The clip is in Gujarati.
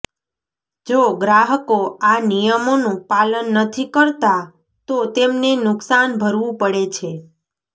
જો ગ્રાહકો આ નિયમોનું પાલન નથી કરતા તો તેમને નુકસાન ભરવું પડે છે